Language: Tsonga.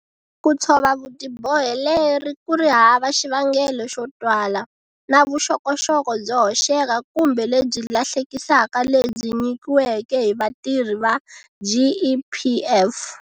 Ku tshova vutiboheleri ku ri hava xivangelo xo twala, na Vuxokoxoko byo hoxeka kumbe lebyi lahlekisaka lebyi nyikiweke hi vatirhi va GEPF.